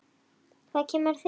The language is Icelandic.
Hvað kemur það þér við?